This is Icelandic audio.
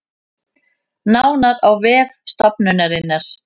Nánar á vef stofnunarinnar